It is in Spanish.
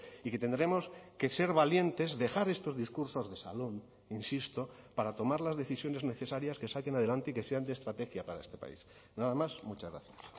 y que tendremos que ser valientes dejar estos discursos de salón insisto para tomar las decisiones necesarias que saquen adelante y que sean de estrategia para este país nada más muchas gracias